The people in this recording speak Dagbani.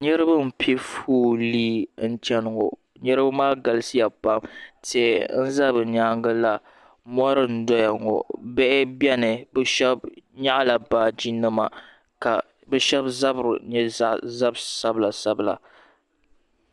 Niriba m piɛ foolii n cheni ŋɔ niriba maa galisiya pam tihi n za bɛ nyaanga la mori n doya ŋɔ bihi biɛni sheba nyaɣi la baaji nima ka bɛ sheba zabri nyɛ zab'sabla sabla.